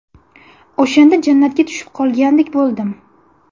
O‘shanda jannatga tushib qolgandek bo‘ldim.